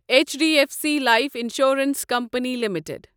each D F C life insurance company limited